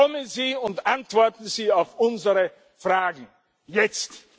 Kommen Sie und antworten Sie auf unsere Fragen jetzt!